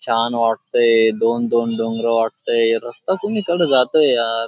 छान वाटतंय. दोन-दोन डोंगर वाटतंय. रस्ता कुणीकडे जातोय यार.